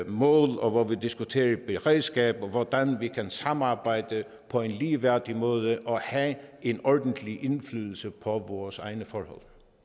mål og hvor vi diskuterer beredskab og hvordan vi kan samarbejde på en ligeværdig måde og have en ordentlig indflydelse på vores egne forhold